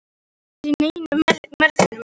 Hann var sko ekki í neinni megrun!